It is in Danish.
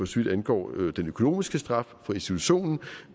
så vidt angår den økonomiske straf for institutionen